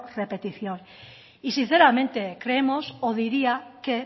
repetición y sinceramente creemos o diría que